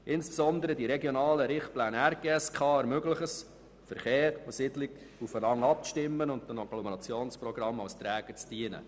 Insbesondere die regionalen Richtpläne beziehungsweise die RGSK ermöglichen es, Verkehr und Siedlung aufeinander abzustimmen und den Agglomerationsprogrammen als Träger zu dienen.